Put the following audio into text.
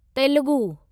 Telugu